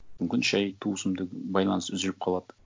мүмкін шай туысымды байланыс үзіліп қалады